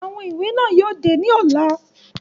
Awọn iwe náa yóò de ni ọla